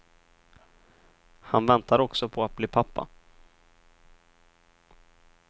Han väntar också på att bli pappa.